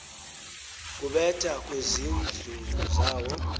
kubetha kwezintlu zawo